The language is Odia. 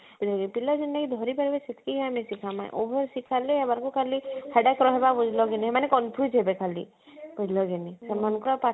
ପିଲା ଯେତକି ଧରି ପାରବେ ସେତକି ଆମେ ଶିଖାଉ ମା over ଶିଖାଇଲେ ଏମାନଙ୍କୁ ଖାଲି headache ରହିବା ବୁଝିଲ କି ନାଇ ଏମାନେ confuse ହେବେ ଖାଲି ବୁଝିଲା କି ନାଇଁ